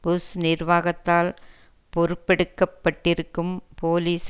push நிர்வாகத்தால் பொறுப்பெடுக்கப்பட்டிருக்கும் police